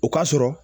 O ka sɔrɔ